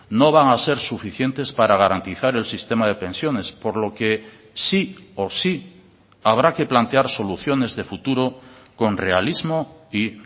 no van a ser suficientes para garantizar el sistema de pensiones por lo que sí o sí habrá que plantear soluciones de futuro con realismo y